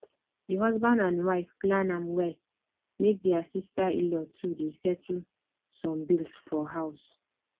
the husband and wife plan am well make their sisterinlaw too dey settle some bills for house